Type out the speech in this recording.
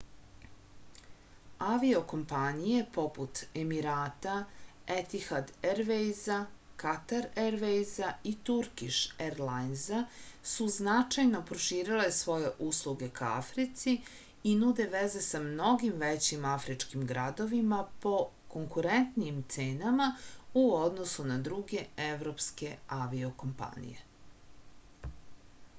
avio-kompanije poput emirata etihad ervejza katar ervejza i turkiš erlajnza su značajno proširile svoje usluge ka africi i nude veze sa mnogim većim afričkim gradovima po konkurentnijim cenama u odnosu na druge evropske avio-kompanije